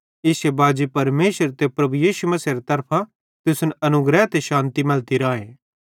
इश्शे बाजी परमेशर ते प्रभु यीशु मसीहेरे तरफां तुसन अनुग्रह ते शान्ति मैलती राए